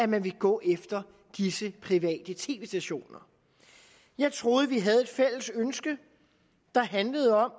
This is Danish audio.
man vil gå efter disse private tv stationer jeg troede vi havde et fælles ønske der handlede om